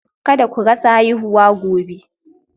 Kada ku rasa haihuwa gobe